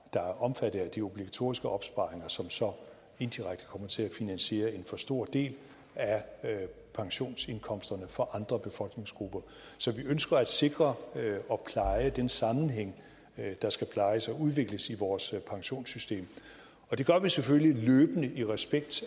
er omfattet af de obligatoriske opsparinger som så indirekte kommer til at finansiere en for stor del af pensionsindkomsterne for andre befolkningsgrupper så vi ønsker at sikre og pleje den sammenhæng der skal plejes og udvikles i vores pensionssystem og det gør vi selvfølgelig løbende i respekt